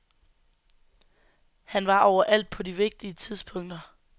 Han var overalt på de vigtige tidspunkter.